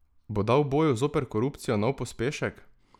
Bo dal boju zoper korupcijo nov pospešek?